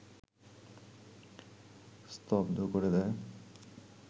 স্তব্ধ করে দেয়